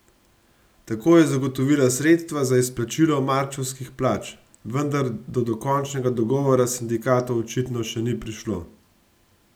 Tako je zagotovila sredstva za izplačilo marčevskih plač, vendar do dokončnega dogovora s sindikatom očitno še ni prišlo.